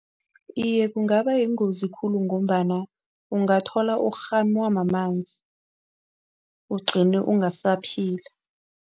Iye, kungaba yingozi khulu ngombana ungathola urhunywa mamanzi, ugcine ungasaphila.